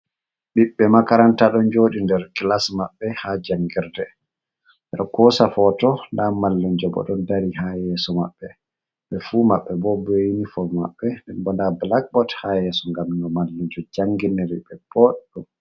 Ɓiɓɓe makaranta ɗon jodi nder kilas maɓɓe ha jangirde. Ɓeɗo kosa foto nda mallunjo bo ɗon dari ha yeso maɓɓe. Ɓe fu maɓɓe bo be unifom maɓɓe nden bo nda blackbot ha yeso ngam no mallunjo janginiri be boɗɗum.